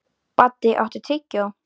Baddi, áttu tyggjó?